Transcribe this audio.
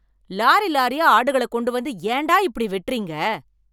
Lorry லாரியா ஆடுகளக் கொண்டு வந்து ஏன்டா இப்படி வெட்றீங்க?